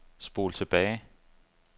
spol tilbage